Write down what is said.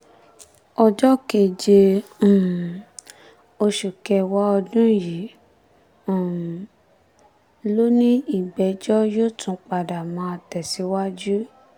ọjọ́ keje um oṣù kẹwàá ọdún yìí um ló ní ìgbẹ́jọ́ yóò tún máa tẹ̀síwájú